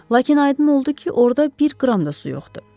Lakin aydın oldu ki, orda bir qram da su yoxdur.